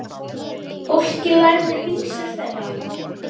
Fólkið lærði vísur þeirra.